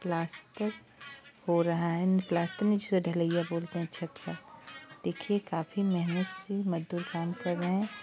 Plaster हो रहा है| प्लास्टर नीचे ढलैया बोलते हैं छत का| देखिये काफी मेहनत से मजदूर काम कर रहे हैं।